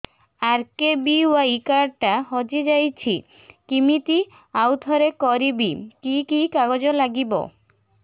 RKBY card ଟା ହଜିଯାଇଛି କିମିତି ଆଉଥରେ କରିବି କି କି କାଗଜ ଲାଗିବ